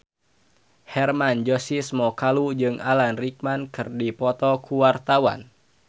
Hermann Josis Mokalu jeung Alan Rickman keur dipoto ku wartawan